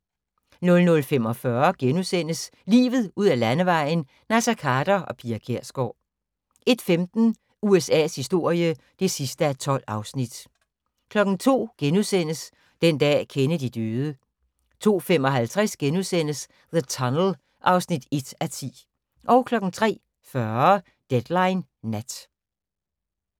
00:45: Livet ud ad Landevejen: Naser Khader og Pia Kjærsgaard * 01:15: USA's historie (12:12) 02:00: Den dag Kennedy døde * 02:55: The Tunnel (1:10)* 03:40: Deadline Nat